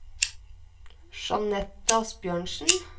Jeanette Asbjørnsen